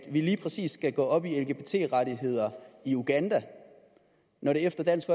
lige præcis skal gå op i lgbt rettigheder i uganda når det efter dansk